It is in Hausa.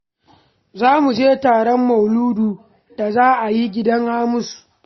Za mu je taron mauludu da za a yi a gidan Hamisu